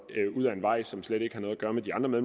ud af en vej som slet ikke har noget gøre med de andre